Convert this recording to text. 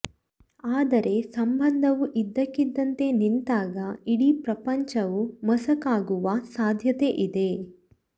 ಆದರೆ ಸಂಬಂಧವು ಇದ್ದಕ್ಕಿದ್ದಂತೆ ನಿಂತಾಗ ಇಡೀ ಪ್ರಪಂಚವು ಮಸುಕಾಗುವ ಸಾಧ್ಯತೆ ಇದೆ